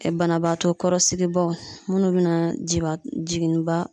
Banabaatɔ kɔrɔ sigibaaw munnu bɛna jiba jigin